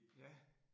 Ja